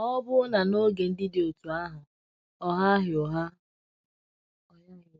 Ma, ọbụna n’oge ndị dị otú ahụ, ọ ghaghị ụgha.